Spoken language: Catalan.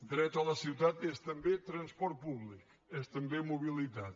dret a la ciutat és també transport públic és també mobilitat